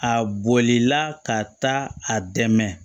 A bolila ka taa a dɛmɛ